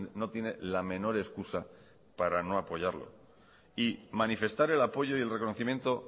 no tiene la menor excusa para no apoyarlo y manifestar el apoyo y el reconocimiento